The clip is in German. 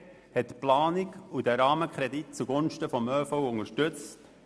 Die BDP hat die Planung und den Rahmenkredit zugunsten des ÖV unterstützt.